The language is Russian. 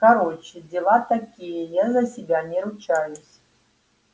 короче дела такие я за себя не ручаюсь